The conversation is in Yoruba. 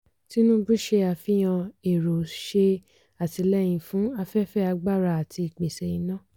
tinubu ṣe àfihàn èrò ṣe àtìlẹyìn fún afẹ́fẹ́ agbára àti ìpèsè iná.